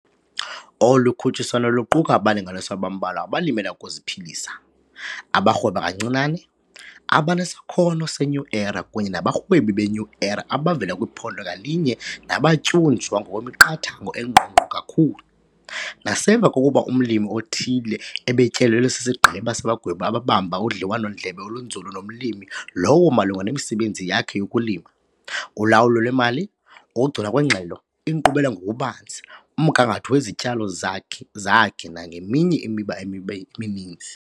Olu khutshiswano luquka abalingwa abambalwa abaLimela ukuziPhilisa, abaRhweba kaNcinane, abanesaKhono seNew Era kunye nabaRhwebi beNew Era abavela kwiphondo ngalinye nabatyunjwa ngokwemiqathango engqongqo kakhulu, nasemva kokuba umlimi othile ebetyelelwe sisigqeba sabagwebi ababamba udliwano-ndlebe olunzulu nomlimi lowo malunga nemisebenzi yakhe yokulima, ulawulo lwemali, ukugcinwa kweengxelo, inkqubela ngokubanzi, umgangatho wezityalo zakhe zakhe nangeminye imiba emininzi.